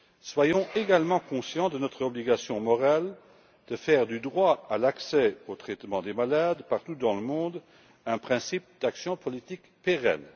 Soyons également conscients de notre obligation morale de faire du droit des malades à l'accès au traitement partout dans le monde un principe d'action politique pérenne.